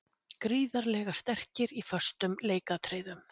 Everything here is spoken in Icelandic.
Gríðarlega sterkir í föstum leikatriðum.